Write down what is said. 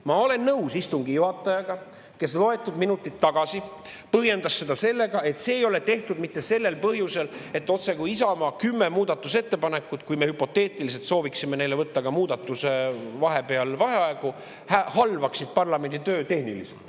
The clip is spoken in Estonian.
Ma olen nõus istungi juhatajaga, kes loetud minutid tagasi põhjendas seda nii, et see ei ole tehtud sellel põhjusel, et otsekui Isamaa kümme muudatusettepanekut, kui me hüpoteetiliselt sooviksime võtta ka enne muudatus vaheaegu, halvaksid tehniliselt parlamenditööd.